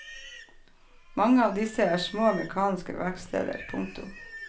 Mange av disse er små mekaniske verksteder. punktum